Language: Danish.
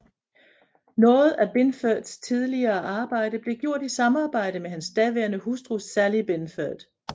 Noget af Binfords tidligere arbejde blev gjort i samarbejde med hans daværende hustru Sally Binford